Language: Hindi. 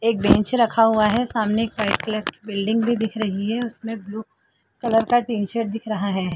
एक बेंच रखा हुआ है सामने एक वाइट कलर की बिल्डिंग भी दिख रही है उसमें ब्लू कलर का टिंच शर्ट दिख रहा है ।